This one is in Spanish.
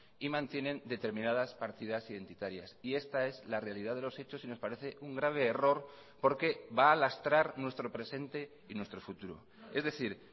y mantienen determinadas partidas identitarias y esta es la realidad de los hechos y nos parece un grave error porque va a lastrar nuestro presente y nuestro futuro es decir